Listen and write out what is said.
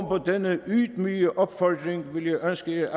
på denne ydmyge opfordring vil jeg ønske